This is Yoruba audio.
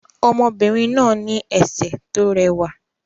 Ọmọbìnrin náà ní ẹsẹ̀ tó rẹwà